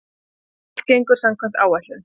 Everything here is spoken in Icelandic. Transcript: Allt gengur samkvæmt áætlun